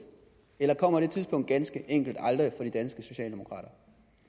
eller kommer det tidspunkt ganske enkelt aldrig for de danske socialdemokrater